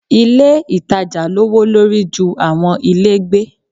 Ilé ìtajà lọ́'wọ́ lórí ju àwọn ilé gbé.